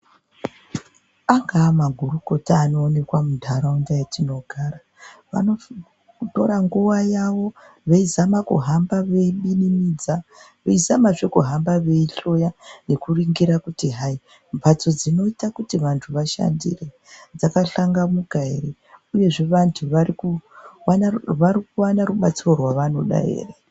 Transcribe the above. Angawa magorokota anooneka muntaraunda matinogara anosisa kutora nguwa yawo veizaama kuhamba eibinimidza viezamazve kuhamba veihloya veiningira kutihayi mhatso dzinoita kuti vantu vashandire dzakahlangamuka ere, uyezve vantu varikuwana rubatsiro ravanoda ere